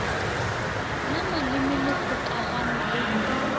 la maleme le kgokagana le